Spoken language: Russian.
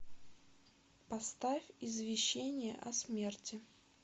поставь извещение о смерти